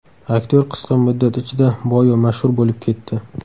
Aktyor qisqa muddat ichida boy va mashhur bo‘lib ketdi.